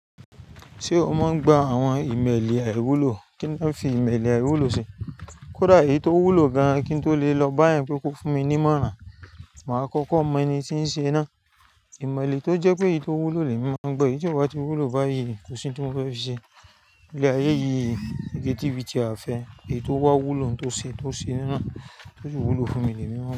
Ṣé o máa ń gba àwọn ìmẹ́lì àìwúlò? Kí ni wọ́n fi ìmẹ́lì àìwúlò ṣe? Kódà èyí tó wúlò gan-an kí n tó lè lọ báyẹn pé kò fún mi ní imọ̀ràn, màá kọ́kọ́ mọ ẹni tí ń ṣe náà. Ìmọ̀lẹ́ tó jẹ́ pé èyí tó wúlò lè mi máa n gbọ́. Eyí tí o bá tí wúlò báyìí, kò sí ohun tí mo fẹ́ fi ṣe. Ilẹ̀ ayé yìí, igi tíbí ti àfẹ́, èyí tó bá wúlò ni tó ṣe, tó ṣe han. Ó sì wúlò fún mi lẹ́mi mọ́n.